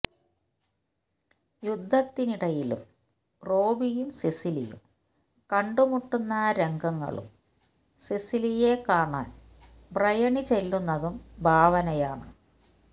യുദ്ധത്തിനിടയിലും റോബിയും സിസിലിയയും കണ്ടുമുട്ടുന്ന രംഗങ്ങളും സിസിലിയയെ കാണാന് ബ്രയണി ചെല്ലുന്നതും ഭാവനയാണ്